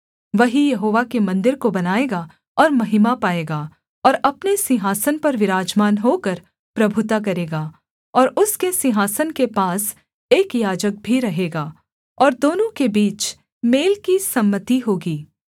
वही यहोवा के मन्दिर को बनाएगा और महिमा पाएगा और अपने सिंहासन पर विराजमान होकर प्रभुता करेगा और उसके सिंहासन के पास एक याजक भी रहेगा और दोनों के बीच मेल की सम्मति होगी